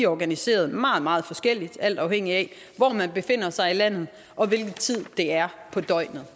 organiseret meget meget forskelligt alt afhængigt af hvor man befinder sig i landet og hvilken tid det er på døgnet